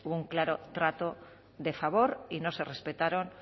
hubo un claro trato de favor y no se respetaron